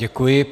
Děkuji.